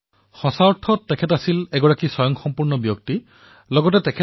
প্ৰকৃততেই তেওঁ man of detail আছিল